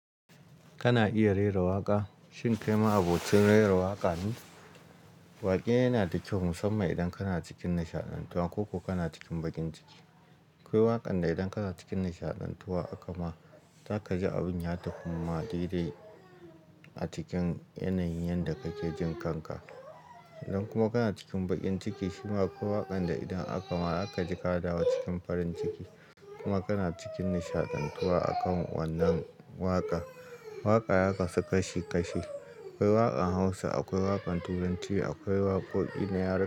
Kana iya rera waƙa? Shin kai ma'abocin rera waƙa ne? Waƙe yana da kyau musamman idan kana cikin nishaɗantuwa ko kana cikin baƙin ciki. Akwai waƙan da idan kana cikin nishaɗantuwa aka ma ta ka ji abin ya takumma daidai a cikin yanayin yanda kake jin kanka. Idan kuma kana cikin baƙin ciki shi ma akwai waƙan da idan aka ma ta ka ji ka dawo cikin farin ciki. Kuma kana cikin nishaɗantuwa akan wannan waƙa. Waƙa ya kasu kashi kashi. Akwai waƙan Hausa, akwai waƙan Turanci, akwai waƙoƙin yara.